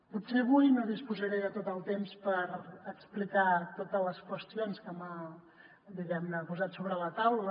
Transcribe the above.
potser avui no disposaré de tot el temps per explicar totes les qüestions que m’ha diguem ne posat sobre la taula